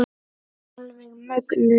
Alveg mögnuð.